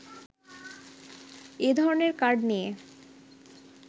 এ ধরণের কার্ড নিয়ে